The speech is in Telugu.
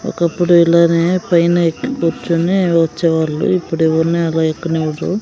ఒకప్పుడు ఇలానే పైన ఎక్కి కూర్చొని వచ్చేవాళ్ళు ఇప్పుడు ఎవరిని అలా ఎక్కనివ్వరు.